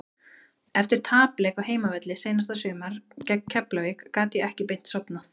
Eftir tapleik á heimavelli seinasta sumar gegn Keflavík gat ég ekki beint sofnað.